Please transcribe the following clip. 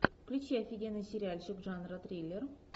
включи офигенный сериальчик жанра триллер